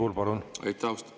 Aitäh, austatud juhataja!